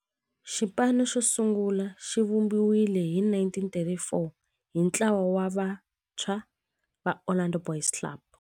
Xipano xosungula xivumbiwile hi 1934 hi ntlawa wa vantshwa va Orlando Boys Club.